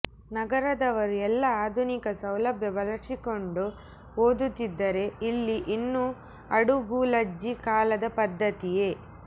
ನಗರದವರು ಎಲ್ಲ ಅಧುನಿಕ ಸೌಲಭ್ಯ ಬಳಸಿಕೊಂಡು ಓದುತಿದ್ದರೆ ಇಲ್ಲಿ ಇನ್ನು ಅಡುಗೂಲಜ್ಜಿ ಕಾಲದ ಪದ್ದತಿಯೇ